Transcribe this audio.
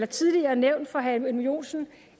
tidligere nævnt for herre edmund joensen